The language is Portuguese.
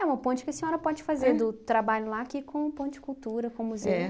É uma ponte que a senhora pode fazer do trabalho lá, aqui, como ponte de cultura, com o museu.